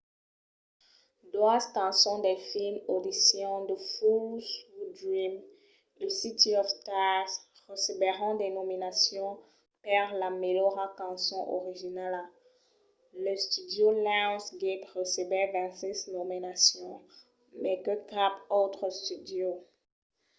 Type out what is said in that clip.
doas cançons del film audition the fools who dream e city of stars recebèron de nominacions per la melhora cançon originala. l'studio lionsgate recebèt 26 nominacions — mai que cap autre studio